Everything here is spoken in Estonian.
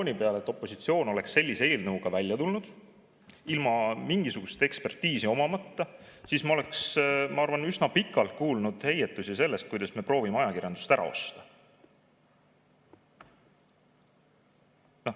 Kui mõelda, et opositsioon oleks sellise eelnõuga välja tulnud ilma mingisugust ekspertiisi omamata, siis me oleks, ma arvan, üsna pikalt kuulnud heietusi sellest, kuidas me proovime ajakirjandust ära osta.